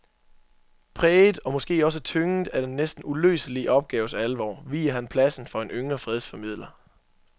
Præget og måske også tynget af den næsten uløselige opgaves alvor viger han pladsen for en yngre fredsformidler.